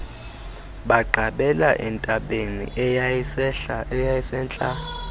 baqabela entabeni eyayisentla